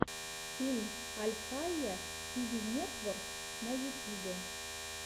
фильм альхайя ти ви нетворк на ютюбе